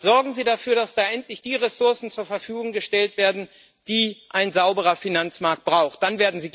Sorgen Sie dafür, dass da endlich die Ressourcen zur Verfügung gestellt werden, die ein sauberer Finanzmarkt braucht. Dann werden Sie glaubwürdig.